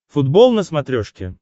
футбол на смотрешке